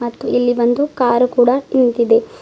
ಇಲ್ಲಿ ಬಂದು ಕಾರು ಕೂಡ ನಿಂತಿದೆ.